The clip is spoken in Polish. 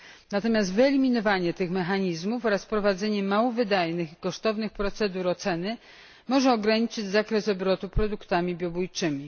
Natomiast wyeliminowanie tych mechanizmów oraz wprowadzenie mało wydajnych i kosztownych procedur oceny może ograniczyć zakres obrotu produktami biobójczymi.